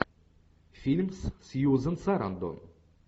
фильм с сьюзен сарандон